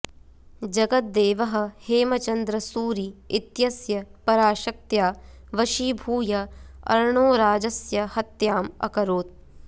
जगद्देवः हेमचन्द्र सूरि इत्यस्य पराशक्त्या वशीभूय अर्णोराजस्य हत्याम् अकरोत्